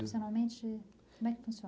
funciona?